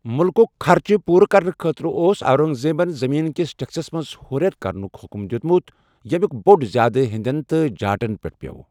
مٗلکٗک خَرچہٕ پوٗرٕ کرنہٕ خٲطرٕ اوس اورنگزیبن زمین کِس ٹٮ۪کٕسس منٛز ہُریٚر کرنُک حُکم دِیوٗتمُت، یٔمُک بور زیادٕ ہیندین تہٕ جاٹن پیٹھ پِیو ٚ۔